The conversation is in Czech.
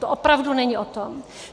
To opravdu není o tom.